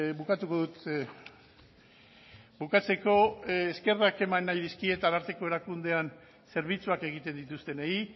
bukatuko dut bukatzeko eskerrak eman nahi dizkiet ararteko erakundean zerbitzuak egiten dituztenei